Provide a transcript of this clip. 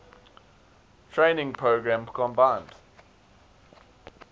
training program combined